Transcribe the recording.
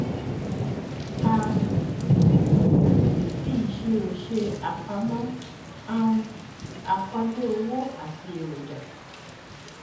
a um fi ìṣirò ṣe àpamọ um àkọọlẹ owó àti eroja